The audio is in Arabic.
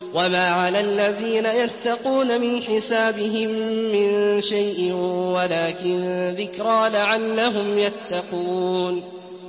وَمَا عَلَى الَّذِينَ يَتَّقُونَ مِنْ حِسَابِهِم مِّن شَيْءٍ وَلَٰكِن ذِكْرَىٰ لَعَلَّهُمْ يَتَّقُونَ